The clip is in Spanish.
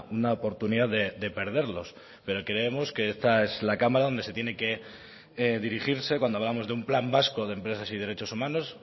una oportunidad de perderlos pero creemos que esta es la cámara donde se tiene dirigirse cuando hablamos de un plan vasco de empresas y derechos humanos